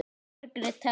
Margrét Thelma.